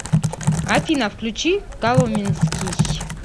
афина включи коломенский